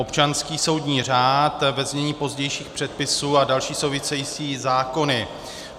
- občanský soudní řád, ve znění pozdějších předpisů, a další související zákony.